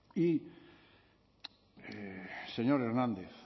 y señor hernández